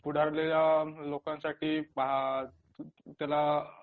पुढारलेल्या लोकांसाठी अ त्याला